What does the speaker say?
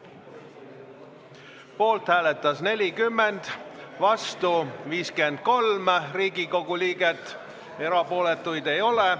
Hääletustulemused Poolt hääletas 40, vastu 53 Riigikogu liiget, erapooletuid ei ole.